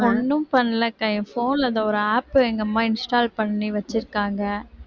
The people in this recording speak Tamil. ஒண்ணும் பண்ணல அக்கா, என் phone ல அந்த ஒரு app அ எங்க அம்மா install பண்ணி வச்சிருக்காங்க